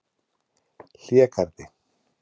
Hlégarði